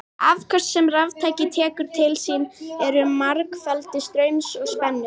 Afköst sem raftæki tekur til sín eru margfeldi straums og spennu.